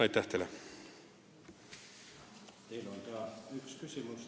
Aitäh teile!